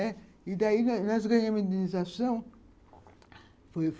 E daí nós ganhamos a indenização.